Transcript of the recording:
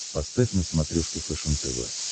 поставь на смотрешке фэшен тв